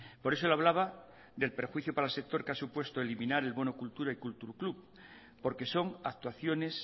por eso le hablaba del perjuicio para el sector que ha puesto eliminar el bono cultura y kultur klub porque son actuaciones